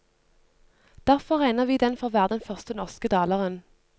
Derfor regner vi den for å være den første norske daleren.